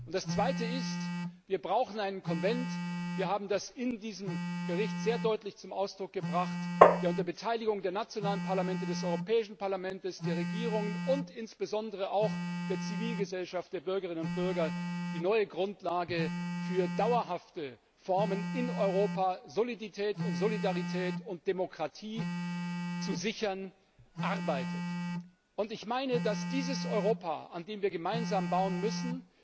Das Zweite ist Wir brauchen einen Konvent wir haben das in diesem Bericht sehr deutlich zum Ausdruck gebracht der unter Beteiligung der nationalen Parlamente, des Europäischen Parlaments, der Regierungen und insbesondere auch der Zivilgesellschaft, der Bürgerinnen und Bürger daran arbeitet, die neue Grundlage für dauerhafte Formen in Europa, Solidität und Solidarität und Demokratie zu sichern. Ich meine, dass dieses Europa, an dem wir gemeinsam bauen müssen,